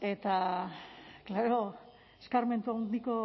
eta klaro eskarmentu handiko